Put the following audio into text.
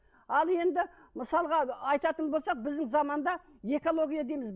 ал енді мысалға айтатын болсақ біздің заманда экология дейміз